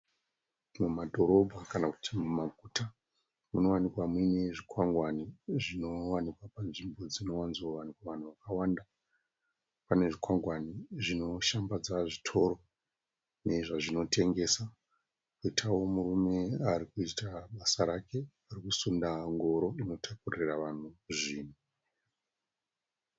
Mumadhorobha kana kuti mumaguta munowanikwa muine zvikwangwani zvinowanikwa panzvimbo dzinowanzowanikwa vanhu vakawanda, pane zvikwangwani zvinoshambadza zvitoro nezvazvinotengesa poitawo murume ari kuita basa rake ari kusunda ngoro ino takurira vanhu zvinhu.